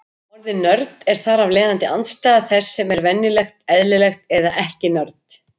Orðið nörd er þar af leiðandi andstæða þess sem er venjulegt, eðlilegt, eða ekki-nörd.